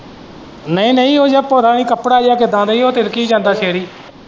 ਨਹੀਂ ਨਹੀਂ ਉਹ ਯਾਰ ਕੱਪੜਾ ਜਿਹਾ ਕਿੱਦਾਂ ਦੀ ਹੈ ਉਹ ਤਿਲਕੀ ਜਾਂਦਾ ਸਿਰ ਹੀ।